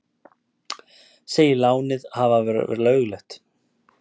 Segir lánið hafa verið löglegt